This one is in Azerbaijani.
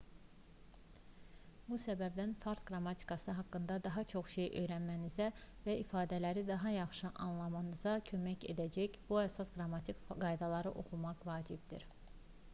bu səbəbdən fars qrammatikası haqqında daha çox şey öyrənmənizə və ifadələri daha yaxşı anlamanıza kömək edəcək bu əsas qrammatik qaydanı oxumaq vacibdir